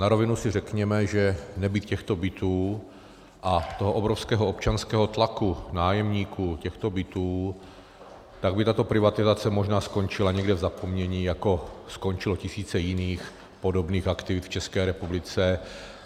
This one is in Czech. Na rovinu si řekněme, že nebýt těchto bytů a toho obrovského občanského tlaku nájemníků těchto bytů, tak by tato privatizace možná skončila někde v zapomnění, jako skončilo tisíce jiných podobných aktivit v České republice.